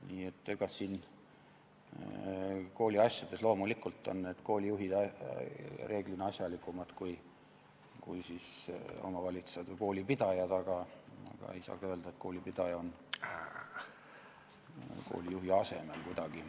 Nii et kooliasjades on loomulikult koolijuhid reeglina asjalikumad kui omavalitsused või koolipidajad, aga ei saa ka öelda, et koolipidaja oleks kuidagi koolijuhi asemel.